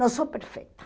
Não sou perfeita.